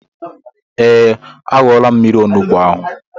Ee, aṅula m mmiri onugbu ahụ